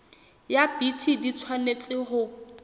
ya bt di tshwanetse ho